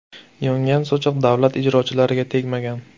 Yongan sochiq davlat ijrochilariga tegmagan.